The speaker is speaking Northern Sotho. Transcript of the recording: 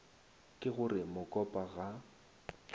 ke go re mokopa ga